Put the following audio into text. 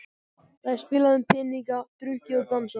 Það er spilað um peninga, drukkið og dansað.